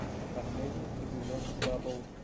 последний эпизод баббл